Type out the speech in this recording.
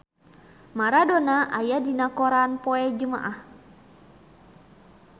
Maradona aya dina koran poe Jumaah